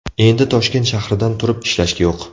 Endi Toshkent shahridan turib ishlash yo‘q!